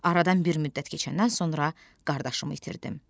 Aradan bir müddət keçəndən sonra qardaşımı itirdim.